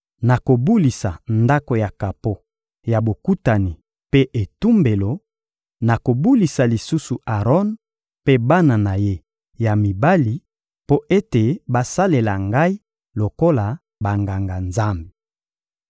Nakobulisa Ndako ya kapo ya Bokutani mpe etumbelo; nakobulisa lisusu Aron mpe bana na ye ya mibali mpo ete basalela Ngai lokola Banganga-Nzambe.